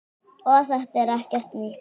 Og þetta er ekkert nýtt.